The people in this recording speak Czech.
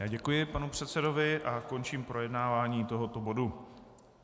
Já děkuji panu předsedovi a končím projednávání tohoto bodu.